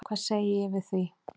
Hvað segi ég við því?